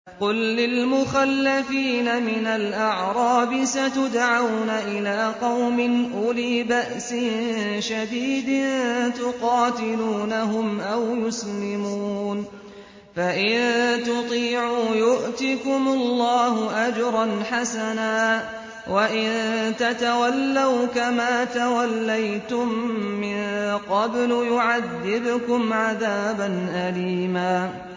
قُل لِّلْمُخَلَّفِينَ مِنَ الْأَعْرَابِ سَتُدْعَوْنَ إِلَىٰ قَوْمٍ أُولِي بَأْسٍ شَدِيدٍ تُقَاتِلُونَهُمْ أَوْ يُسْلِمُونَ ۖ فَإِن تُطِيعُوا يُؤْتِكُمُ اللَّهُ أَجْرًا حَسَنًا ۖ وَإِن تَتَوَلَّوْا كَمَا تَوَلَّيْتُم مِّن قَبْلُ يُعَذِّبْكُمْ عَذَابًا أَلِيمًا